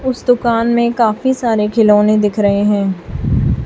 उस दुकान में काफी सारे खिलौने दिख रहे हैं।